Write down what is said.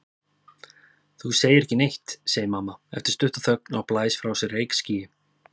Þú segir ekki neitt, segir mamma eftir stutta þögn og blæs frá sér reykskýi.